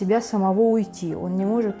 тебя самого уйти он не может